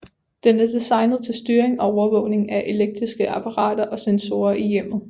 Den er designet til styring og overvågning af elektriske apparater og sensorer i hjemmet